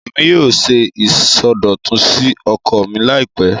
Èmi yóò ṣe ìsọdọ̀tun sí oko mi láìpẹ́